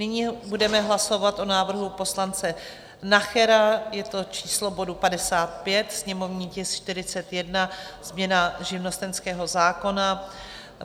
Nyní budeme hlasovat o návrhu poslance Nachera, je to číslo bodu 55, sněmovní tisk 41, změna živnostenského zákona.